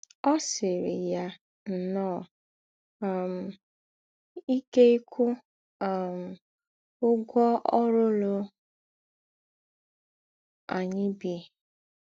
Ó sìírí yà nnọọ um íké íkwụ́ um ǔgwọ́ ǒrụ̀lụ̀ ànyị̀ bí.